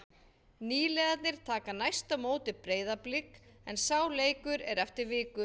Nýliðarnir taka næst á móti Breiðablik en sá leikur er eftir viku.